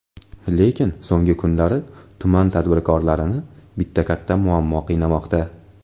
Lekin, so‘nggi kunlari tuman tadbirkorlarini bitta katta muammo qiynamoqda.